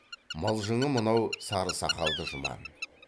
мылжыңы мынау сары сақалды жұман